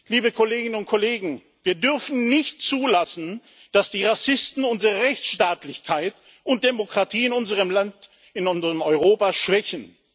Liebe Kolleginnen und Kollegen, wir dürfen nicht zulassen, dass die Rassisten unsere Rechtsstaatlichkeit und Demokratie in unserem Land, in unserem Europa schwächen.